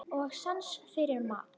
Og sans fyrir mat.